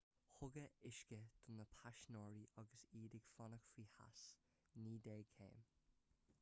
tugadh uisce do na paisinéirí agus iad ag fanacht faoi theas 90 céim f